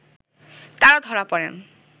তারা ধরা পড়েন